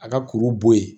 A ka kuru bɔ yen